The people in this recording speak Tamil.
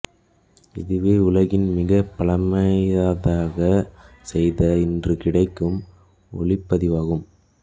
இதுவே உலகில் மிகப் பழையதாக செய்த இன்று கிடைக்கும் ஒலிப்பதிவாகும்